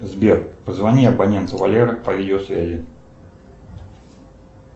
сбер позвони абоненту валера по видеосвязи